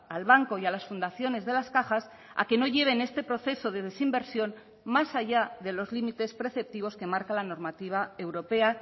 al banco y a las fundaciones de las cajas a que no lleven este proceso de desinversión más allá de los límites preceptivos que marca la normativa europea